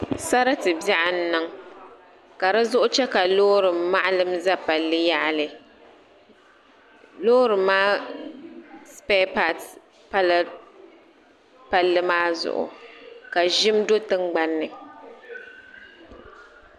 Sarati biaɣu n niŋ ka dizuɣu che ka loori maɣalim za palli yaɣali loori maa sipɛɛpasi pala palli maa zuɣu ka ʒim do tingbanni.